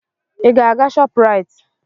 Ị ga-aga Shoprite?